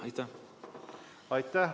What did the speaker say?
Aitäh!